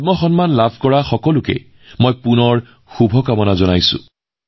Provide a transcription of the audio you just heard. পদ্ম বঁটা লাভ কৰা সকলোকে পুনৰবাৰ শুভেচ্ছা জ্ঞাপন কৰিলোঁ